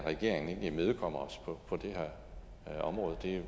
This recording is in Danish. regeringen ikke imødekommer os på det her område det er